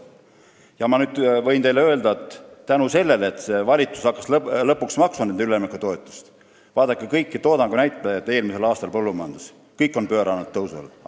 Aga ma võin teile öelda seda: see, et praegune valitsus hakkas lõpuks maksma üleminekutoetust, pööras eelmisel aastal tõusule kõik toodangu näitajad põllumajanduses.